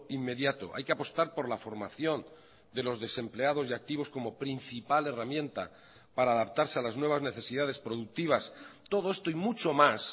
inmediato hay que apostar por la formación de los desempleados y activos como principal herramienta para adaptarse a las nuevas necesidades productivas todo esto y mucho más